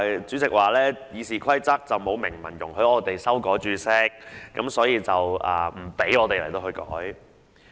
主席表示《議事規則》沒有明文容許議員修改註釋，故不讓我們作出相關修訂。